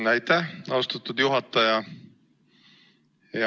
Aitäh, austatud juhataja!